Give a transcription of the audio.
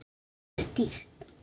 Þetta er dýrt.